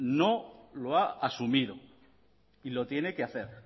no lo ha asumido y lo tiene que hacer